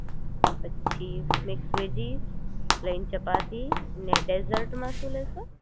પછી mix veggies plain ચપટી ને ડેઝર્ટ માં શું લેશો